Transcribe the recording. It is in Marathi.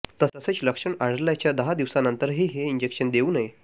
तसेच लक्षण आढळल्याच्या दहा दिवसांनंतरही हे इंजेक्शन देऊ नये